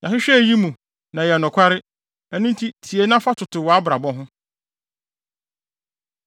“Yɛahwehwɛ eyi mu, na ɛyɛ nokware ɛno nti tie na fa toto wʼabrabɔ ho.”